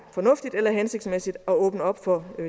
fornuftigt eller hensigtsmæssigt at åbne op for det